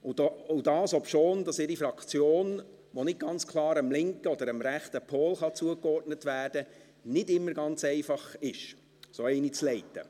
Und das, obschon es nicht immer ganz einfach ist, eine Fraktion wie die ihre, die nicht ganz klar dem linken oder dem rechten Pol zugeordnet werden kann, zu leiten.